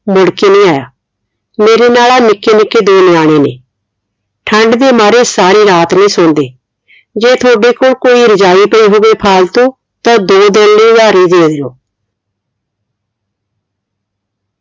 ਮੁੜਕੇ ਨਹੀਂ ਆਇਆ ਮੇਰੇ ਨਾਲ ਆ ਨਿੱਕੇ ਨਿੱਕੇ ਦੋ ਨਿਆਣੇ ਨੇ ਠੰਡ ਦੇ ਮਾਰੇ ਸਾਰੀ ਰਾਤ ਨੀ ਸੋਂਦੇ ਜੇ ਤੁਹਾਡੇ ਕੋਲ ਕੋਈ ਰਜਾਈ ਪਈ ਹੋਵੇ ਫਾਲਤੂ ਤਾ ਦੋ ਦਿਨ ਲਈ ਉਧਾਰੀ ਦੇ ਦੋ